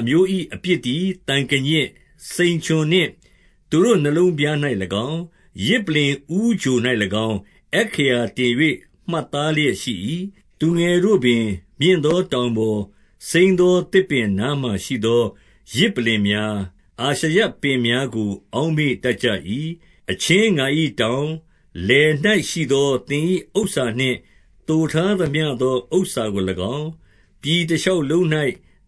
အမျိုး၏ အပြစ်သည် သံကညစ်၊ စိန်ချွန်နှင့် သူတို့နှလုံးပြား၌၎င်း၊ ယဇ်ပလ္လင် ဦးချို၌၎င်း အက္ခရာ တင်၍ မှတ်သားလျက်ရှိ၏။ 2 သူငယ်တို့ပင် မြင့်သောတောင်ပေါ်၊ စိမ်းသော သစ်ပင်နားမှာရှိသော ယဇ်ပလ္လင်များ၊ အာရှရပင်များကို အောက်မေ့တတ်ကြ၏။ 3 အချင်းငါ၏တောင်၊ လယ်၌ရှိသော သင်၏ဥစ္စာ နှင့်သိုထားသမျှသော ဥစ္စာကို၎င်း၊ ပြည်တရှောက်လုံး၌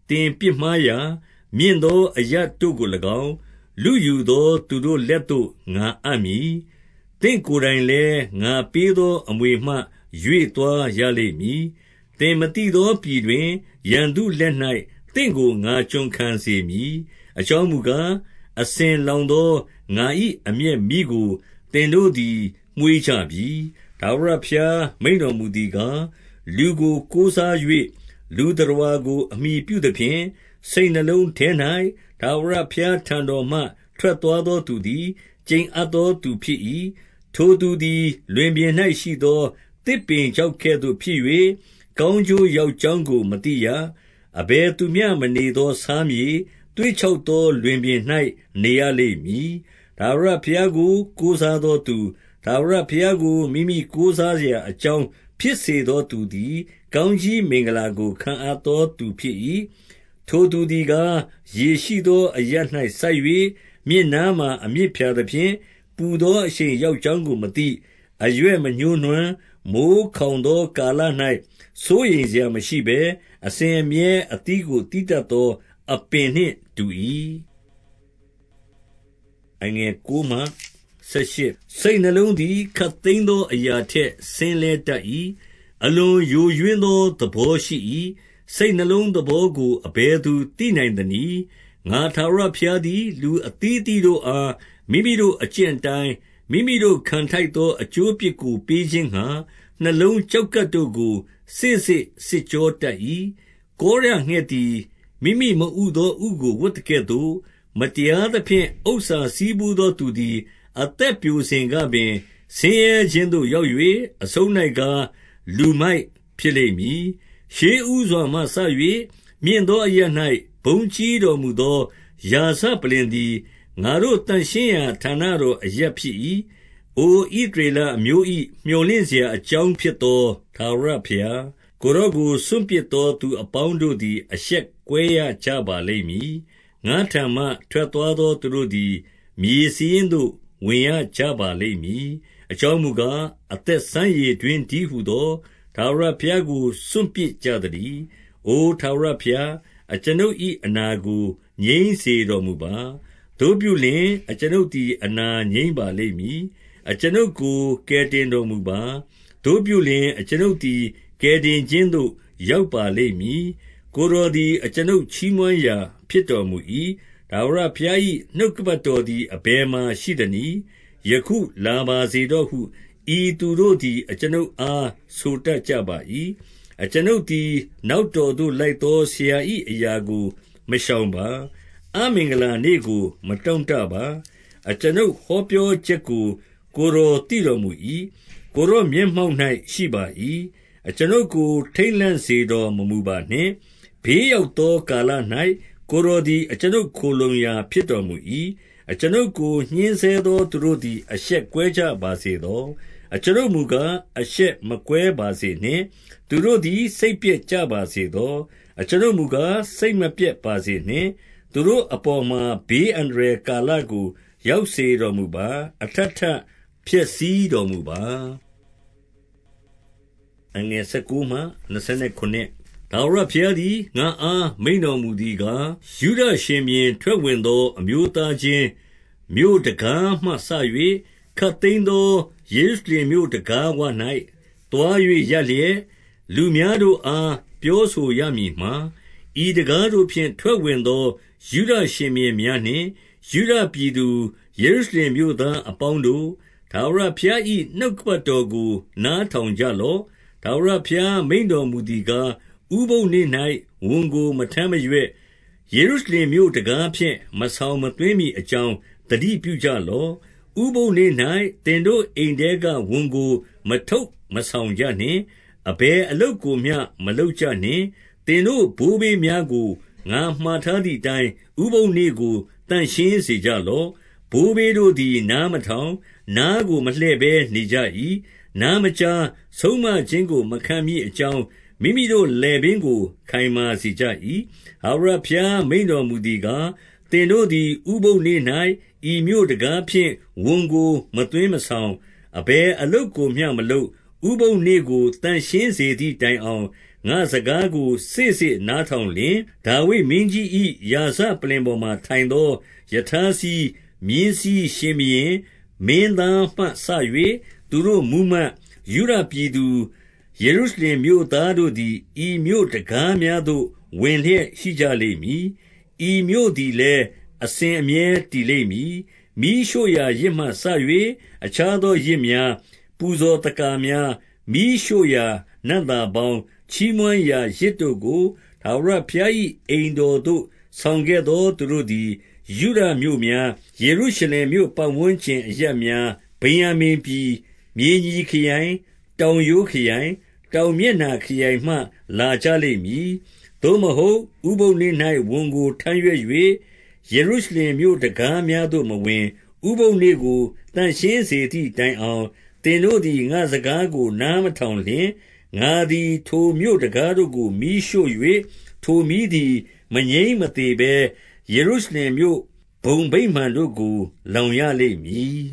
သင်ပြစ်မှားရာ၊ မြင့်သောအရပ်တို့ကို၎င်း၊ လုယူသော သူတို့လက်သို့ ငါအပ်မည်။ 4 သင့်ကိုယ်တိုင်လည်း ငါပေးသောအမွေမှ ရွေ့ သွားရလိမ့်မည်။ သင်မသိသော ပြည်တွင်၊ ရန်သူလက်၌ သင့်ကို ငါကျွန်ခံစေမည်။ အကြောင်းမူကား၊ အစဉ် အလာသောငါ၏ အမျက်မီးကို သင်တို့သည် မွေးကြပြီ။ 5 ထာဝရဘုရား မိန့်တော်မူသည်ကား၊ လူကို ကိုးစား၍ လူသတ္တဝါကို အမှီပြုသဖြင့်၊ စိတ်နှလုံးထဲ၌ ထာဝရဘုရားထံတော်မှ ထွက်သွားသော သူသည် ကျိန်အပ်သောသူဖြစ်၏။ 6 ထိုသူသည် လွင်ပြင်၌ရှိသော သစ်ပင်ခြောက် ကဲ့သို့ဖြစ်၍၊ ကောင်းကျိုးရောက်ကြောင်းကို မသိရ။ အဘယ်သူမျှမနေသော ဆားမြေ၊ သွေ့ခြောက်သော လွင်ပြင်၌ နေရလိမ့်မည်။ 7 ထာဝရဘုရားကို ကိုးစားသောသူ၊ ထာဝရ ဘုရားကို မိမိကိုးစားရာ အကြောင်းဖြစ် စေသော သူသည် ကောင်းကြီးမင်္ဂလာကို ခံအပ်သော သူဖြစ်၏။ 8 ထိုသူသည်ကား၊ ရေရှိသော အရပ်၌စိုက်၍ မြစ်နားမှာ အမြစ်ဖြာသဖြင့်၊ ပူသောအရှိန် ရောက် ကြောင်းကို မသိ၊ အရွက်မညှိုးနွမ်း၊ မိုဃ်းခေါင်သော ကာလ၌ စိုးရိမ်စရာမရှိဘဲ၊ အစဉ်အမြဲ အသီးကို သီးတတ် သော အပင်နှင့်အတူ၏။ 9 စိတ်နှလုံးသည် ခပ်သိမ်းသော အရာထက် စဉ်းလဲတတ်၏။ အလွန်ယိုယွင်းသော သဘောရှိ၏။ စိတ်နှလုံးသဘောကို အဘယ်သူသိနိုင်သနည်း။ 10 ငါထာဝရဘုရားသည် လူအသီးအသီးတို့အား မိမိတို့အကျင့်အတိုင်း၊ မိမိတို့ခံထိုက်သော အကျိုးအပြစ် ကို ပေးခြင်းငှါ၊ နှလုံးကျောက်ကပ်တို့ကို စေ့စေ့စစ်ကြော တတ်၏။ 11 ကောရငှာက်သည် မိမိမဥသော ဥကို ဝပ်သကဲ့ သို့၊ မတရားသဖြင့် ဥစ္စာဆည်းဖူးသော သူသည် အသက် ပျိုစဉ်ကပင်၊ ဆင်းရဲခြင်းသို့ ရောက်၍ အဆုံး၌ကား၊ လူမိုက်ဖြစ်လိမ့်မည်။ 12 ရှေ့ဦးစွာမှစ၍ မြင့်သော အရပ်၌ ဘုန်းကြီး တော်မူသော ရာဇပလ္လင်သည် ငါတို့သန့်ရှင်းရာ ဌာန တော် အရပ်ဖြစ်၏။ 13 အိုဣသရေလအမျိုး၏ မြော်လင့်စရာ အကြောင်းဖြစ်သော ထာဝရဘုရား၊ ကိုယ်တော်ကို စွန့်ပစ်သော သူအပေါင်းတို့သည် အရှက်ကွဲ ရကြပါလိမ့် မည်။ ငါ့ထံမှ ထွက်သွားသော သူတို့သည် မြေစာရင်းသို့ ဝင်ရကြပါလိမ့်မည်။ အကြောင်းမူကား၊ အသက်စမ်းရေ တွင်းတည်းဟူသော ထာဝရဘုရားကို စွန့်ပစ်ကြ သတည်း။ 14 အို ထာဝရဘုရား၊ အကျွန်ုပ်၏ အနာကို ငြိမ်း စေတော်မူပါ။ သို့ပြုလျှင်၊ အကျွန်ုပ်သည် အနာငြိမ်းပါလိမ့် မည်။ အကျွန်ုပ်ကို ကယ်တင်တော်မူပါ။ သို့ပြုလျှင်၊ အကျွန်ုပ်သည် ကယ်တင်ခြင်းသို့ ရောက်ပါလိမ့်မည်။ ကိုယ်တော်သည် အကျွန်ုပ် ချီးမွမ်းရာဖြစ်တော်မူ၏။ 15 ထာဝရဘုရား၏ နှုတ်ကပတ်တော်သည် အဘယ်မှာရှိသနည်း။ ယခုလာပါစေတော့ဟု ဤသူတို့ သည် အကျွန်ုပ်အား ဆိုတတ်ကြပါ၏။ 16 အကျွန်ုပ်သည် နောက်တော်သို့ လိုက်သော ဆရာ၏အရာကို မရှောင်ပါ။ အမင်္ဂလာနေ့ကို မတောင့် တပါ။ အကျွန်ုပ်ဟောပြောချက်ကို ကိုယ်တော်သိတော် မူ၏။ ကိုယ်တော်မျက်မှောက်၌ ရှိပါ၏။ 17 အကျွန်ုပ်ကို ထိတ်လန့်စေတော်မမူပါနှင့်။ ဘေး ရောက်သော ကာလ၌ ကိုယ်တော်သည် အကျွန်ုပ်ခိုလှုံရာ ဖြစ်တော်မူ၏။ 18 အကျွန်ုပ်ကို ညှဉ်းဆဲသောသူတို့သည် အရှက်ကွဲ ကြပါစေသော။ အကျွန်ုပ်မူကား၊ အရှက်မကွဲပါစေနှင့်။ သူတို့သည် စိတ်ပျက်ကြပါစေသော။ အကျွန်ုပ်မူကား၊ စိတ်မပျက်ပါစေနှင့်။ သူတို့အပေါ်မှာ ဘေးအန္တရာယ် ကာလကို ရောက်စေတော်မူပါ။ အထပ်ထပ်ဖျက်ဆီးတော် မူပါ။ 19 ထာဝရဘုရားသည် ငါ့အားမိန့်တော်မူသည် ကား၊ ယုဒရှင်ဘုရင် ထွက်ဝင်သော အမျိုးသားချင်း မြို့တံခါးမှစ၍၊ ခပ်သိမ်းသော ယေရုရှလင် မြို့တံခါးဝ၌ သွား၍ရပ်လျက်၊ 20 လူများတို့အား ပြောဆိုရမည်မှာ၊ ဤတံခါးတို့ဖြင့် ထွက်ဝင်သော ယုဒရှင်ဘုရင်များနှင့် ယုဒပြည်သူ ယေရု ရှလင်မြို့သားများအပေါင်းတို့၊ ထာဝရဘုရား၏ နှုတ် ကပတ်တော်ကို နားထောင်ကြလော့။ 21 ထာဝရဘုရား မိန့်တော်မူသည်ကား၊ ဥပုသ်နေ့ ၌ ဝန်ကိုမထမ်းမရွက်၊ ယေရုရှလင်မြို့တံခါးဖြင့် မဆောင် မသွင်းမည်အကြောင်း၊ သတိပြုကြလော့။ 22 ဥပုသ်နေ့၌ သင်တို့အိမ်ထဲက ဝန်ကို မထုတ် မဆောင်ကြနှင့်။ အဘယ်အလုပ်ကိုမျှ မလုပ်ကြနှင့်။ သင်တို့ဘိုးဘေးများကို ငါမှာထားသည်အတိုင်း၊ ဥပုသ်နေ့ ကို သန့်ရှင်းစေကြလော့။ 23 ဘိုးဘေးတို့သည် နားမထောင်၊ နားကိုမလှည့်ဘဲ နေကြ၏။ နားမကြား၊ ဆုံးမခြင်းကို မခံမည်အကြောင်း၊ မိမိတို့လည်ပင်းကို ခိုင်မာစေကြ၏။ 24 ထာဝရဘုရား မိန့်တော်မူသည်ကား၊ သင်တို့ သည် ဥပုသ်နေ့၌ ဤမြို့တံခါးဖြင့် ဝန်ကို မသွင်းမဆောင်၊ အဘယ်အလုပ်ကိုမျှမလုပ်၊ ဥပုသ်နေ့ကို သန့်ရှင်းစေသည် တိုင်အောင်၊ ငါ့စကားကို စေ့စေ့နားထောင်လျှင်၊ 25 ဒါဝိဒ်မင်းကြီး၏ ရာဇပလ္လင်ပေါ်မှာ ထိုင်သော ရထားစီး၊ မြင်းစီးရှင်ဘုရင်၊ မင်းသားမှစ၍ သူတို့မှူးမတ်၊ ယုဒပြည်သူ၊ ယေရုရှလင်မြို့သားတို့သည် ဤမြို့တံခါးများ သို့ ဝင်လျက်ရှိကြလိမ့်မည်။ ဤမြို့သည်လည်း အစဉ်အမြဲ တည်လိမ့်မည်။ 26 မီးရှို့ရာယဇ်မှစ၍ အခြားသော ယဇ်များ၊ ပူဇော်သက္ကာများ၊ မီးရှို့ ရာနံ့သာပေါင်း၊ ချီးမွမ်းရာ ယဇ်တို့ကို ထာဝရဘုရား၏ အိမ်တော်သို့ ဆောင်ခဲ့သော သူတို့သည် ယုဒမြို့များ၊ ယေရုရှလင်မြို့ပတ်ဝန်းကျင် အရပ်များ၊ ဗင်္ယာမိန်ပြည်၊ မြေညီခရိုင်၊ တောင်ရိုးခရိုင်၊ တောင်မျက်နှာ ခရိုင်မှလာကြလိမ့်မည်။ 27 သို့မဟုတ်၊ ဥပုသ်နေ့၌ဝန်ကို ထမ်းရွက်၍၊ ယေရု ရှလင်မြို့တံခါးများသို့မဝင်၊ ဥပုသ်နေပကို သန့်ရှင်းစေ သည်တိုင်အောင်၊ သင်တို့သည် ငါ့စကားကို နားမထောင် လျှင်၊ ငါသည် ထိုမြို့တံခါးတို့ကို မီးရှို့၍၊ ထိုမီးသည် မငြိမ်းမသေဘဲ ယေရုရှလင်မြို့ဘုံဗိမာန်တို့ကို လောင်ရ လိမ့်မည်